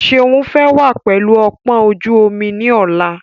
Seun fẹ́ wá pẹlu ọpọ́n ojú omi ni ọ̀la.